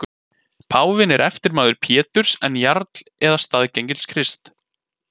Páfinn er eftirmaður Péturs en jarl eða staðgengill Krists.